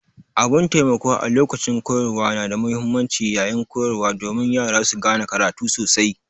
Abun taimako a lokacin koyarwa na da muhimmanci yaƴin koyarwa domin Yara su gane karatu sosai.